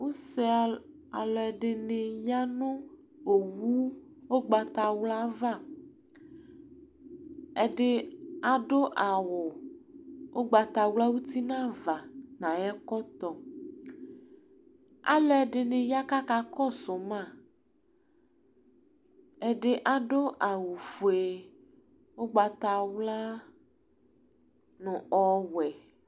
Use aluɛdini ya nu owu ugbatawla ava ɛdi adu awu ugbatawla nu uti nava nu ayɔ ɛkɔtɔ aluɛdini ya ku akakɔsu ma ɛdi adu awu fue ugbatawla nu ɔwɛ